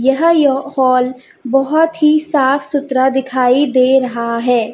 यह जो हॉल बहुत ही साफ सुथरा दिखाई दे रहा है।